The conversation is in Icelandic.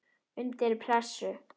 Undir pressu.